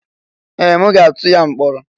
Ee! M ga-atụ ya mkpọrọ.